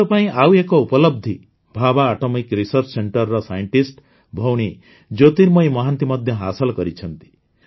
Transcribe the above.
ଦେଶ ପାଇଁ ଆଉ ଏକ ଉପଲବ୍ଧି ଭାବା ଆଟୋମିକ୍ ରିସର୍ଚ୍ଚ Centreର ସାଇଣ୍ଟିଷ୍ଟ ଭଉଣୀ ଜ୍ୟୋତିର୍ମୟୀ ମହାନ୍ତି ମଧ୍ୟ ହାସଲ କରିଛନ୍ତି